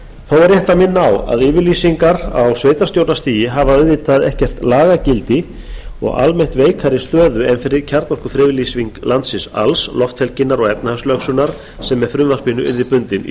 rétt að minna á að yfirlýsingar á sveitarstjórnarstigi hafa auðvitað ekkert lagagildi og almennt veikari stöðu en kjarnorkufriðlýsing landsins alls lofthelginnar og efnahagslögsögunnar sem með frumvarpinu yrðu bundin í